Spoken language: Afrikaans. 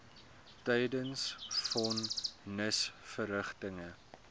tydens von nisverrigtinge